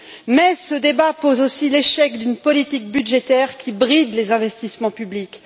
Mais ce débat reflète aussi l'échec d'une politique budgétaire qui bride les investissements publics.